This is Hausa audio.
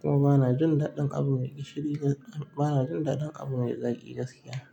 kuma bana jin daɗin abu mai gishiri bana jin daɗin abu mai zaki gaskiya.